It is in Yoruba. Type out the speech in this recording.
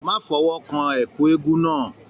Má fọwọ́ kán ẹkú eégún náà!